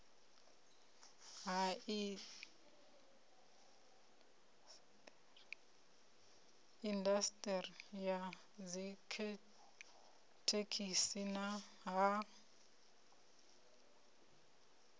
ha indasiṱeri ya dzithekhisi ha